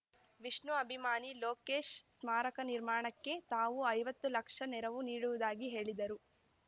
ವಿಷ್ಣು ಅಭಿಮಾನಿ ಲೋಕೇಶ್‌ ಸ್ಮಾರಕ ನಿರ್ಮಾಣಕ್ಕೆ ತಾವು ಐವತ್ತು ಲಕ್ಷ ನೆರವು ನೀಡುವುದಾಗಿ ಹೇಳಿದರು